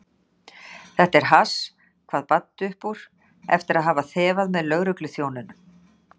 Þetta er hass, kvað Baddi upp úr eftir að hafa þefað með lögregluþjónunum.